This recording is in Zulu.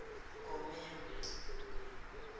gomere